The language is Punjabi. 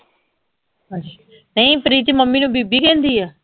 ਅਸ਼ ਨਈ ਪ੍ਰੀਤ ਮਮ੍ਮੀ ਨੂੰ ਬੀਬੀ ਕਹਿੰਦੀ ਆ